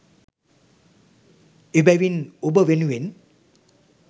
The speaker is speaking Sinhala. එබැවින් ඔබ වෙනුවෙන්